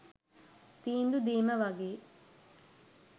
තීන්දු දීම වගේ.